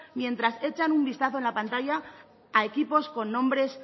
mientras echan un vistazo en la pantalla a equipos con nombres